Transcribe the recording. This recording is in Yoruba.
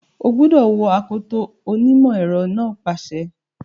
O gbúdọ̀ wọ akoto! onímọ̀ ẹ̀rọ náà pàṣẹ.